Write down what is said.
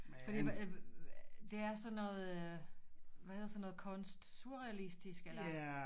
Fordi hvad det er sådan noget hvad hedder sådan noget kunst surrealistisk eller